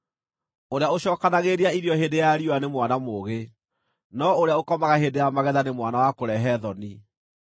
Ũrĩa ũcookanagĩrĩria irio hĩndĩ ya riũa nĩ mwana mũũgĩ, no ũrĩa ũkomaga hĩndĩ ya magetha nĩ mwana wa kũrehe thoni.